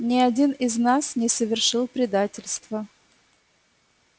ни один из нас не совершил предательства